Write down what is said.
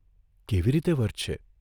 કેવી રીતે વર્તશે?